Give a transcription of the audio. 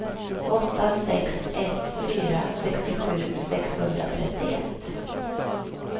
åtta sex ett fyra sextiosju sexhundratrettioett